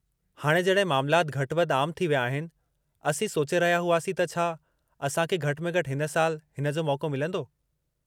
हाणे जॾहिं मामलाति घटि-वधि आम थी विया आहिनि, असीं सोचे रहिया हुआसीं त छा असां खे घटि में घटि हिन साल हिन जो मौक़ो मिलंदो।